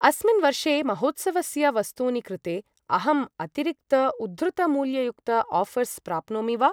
अस्मिन् वर्षे महोत्सवस्य वस्तूनि कृते अहम् अतिरिक्त उद्धृतमूल्ययुक्त आऴर्स् प्राप्नोमि वा?